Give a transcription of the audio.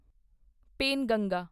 Penganga